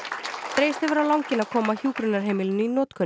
dregist hefur á langinn að koma hjúkrunarheimilinu í notkun